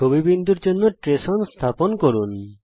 ছবি বিন্দুর জন্যে ট্রেস ওন স্থাপন করুন